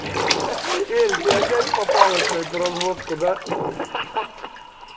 эль ты опять попалась на это разводку да